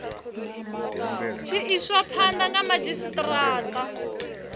tshi iswa phanda ha madzhisitarata